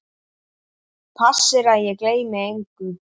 Passir að ég gleymi engu.